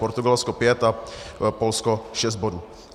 Portugalsko 5 a Polsko 6 bodů.